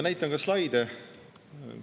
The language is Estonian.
Näitan ka slaide.